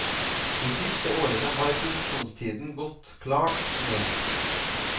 De siste årene har produksjonstiden gått klart ned.